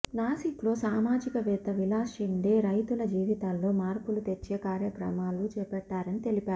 నాసిక్లో సామాజికవేత్త విలాస్ షిండే రైతుల జీవితాల్లో మార్పులు తెచ్చే కార్యక్రమాలు చేపట్టారని తెలిపారు